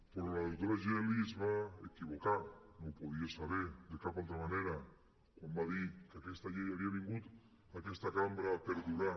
però la doctora geli es va equivocar no ho podia saber de cap altra manera quan va dir que aquesta llei havia vingut a aquesta cambra per durar